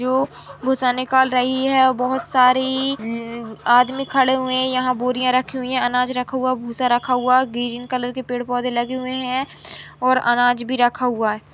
जो भूसा निकाल रही है और बहोत सारी उम्म आदमी खड़े हुए है यहाँ बोरीयां रखी हुई है अनाज रखा हुआ है भूसा रखा हुआ है ग्रीन कलर के पेड़ पौधे लगे हुए हैं और अनाज भी रखा हुआ है